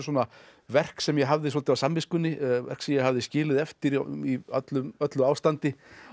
verk sem ég hafði svolítið á samviskunni verk sem ég hafði skilið eftir í öllu öllu ástandi